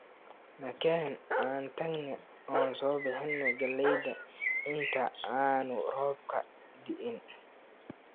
Nakeen aan tagne oo soo bixina galleyda inta aanu roobku da'in